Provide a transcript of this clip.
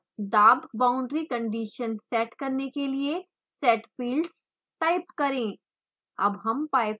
इसके बाद दाब बाउंड्री कंडिशन सेट करने के लिए setfields टाइप करें